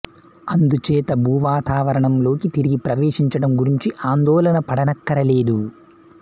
అందుచేత భూవాతావరణంలోకి తిరిగి ప్రవేశించడం గురించి ఆందోళన పడనక్కర లేదు